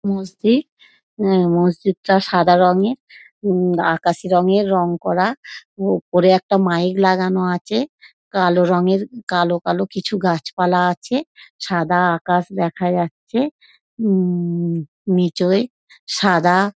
মসজিদ উম মসজিদ সাদা রঙের উম আকাশি রঙের রঙ করা । ওপরে একটা মাইক লাগানো আছে কালো রঙের কালো কালো কিছু গাছ পালা আছে সাদা আকাশ দেখা যাচ্ছে উম নিচয় সাদা।